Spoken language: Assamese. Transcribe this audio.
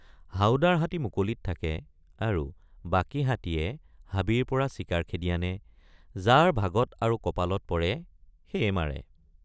হাউদাৰ হাতী মুকলিত থাকে আৰু বাকী হাতীয়ে হাবিৰপৰা চিকাৰ খেদি আনে যাৰ ভাগত আৰু কপালত পৰে সেয়ে মাৰে।